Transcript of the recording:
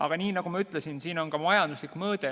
Aga nagu ma ütlesin, siis sellel on ka majanduslik mõõde.